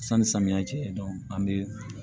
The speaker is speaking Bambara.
Sanni samiyɛ cɛ an bɛ